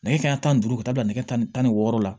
Nɛgɛ kanɲɛ tan ni duuru ka taa bila nɛgɛ kanɲɛ tan ni wɔɔrɔ la